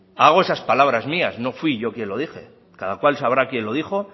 hago esas palabras mías no fui yo quien lo dije cada cual sabrá quién lo dijo